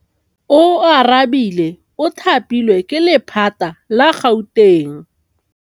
Oarabile o thapilwe ke lephata la Gauteng.